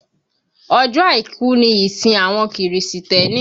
Ọjọ́ àìkú ni ìsìn àwọn kìrìsìtẹ́nì